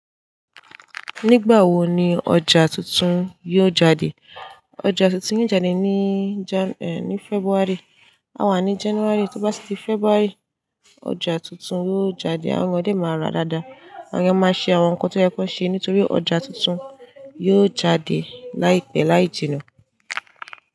Nígbà wo ni ọjà tuntun yóò jáde? Ọjà tuntun yóò jáde ní Jan- è, ní February. A wà ní January, tó bá tí di February, ọjà tuntun yóò jáde. Àwọn ọmọdé máa rà dáadáa, àwọn eniyan máa ṣe àwọn nǹkan tó yẹ kó ṣe nítorí ọjà tuntun yóò jáde láìpẹ́ láì jìná.